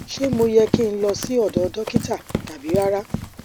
ṣé mo yẹ ki n lọ sí ọdọ dokita tabi rara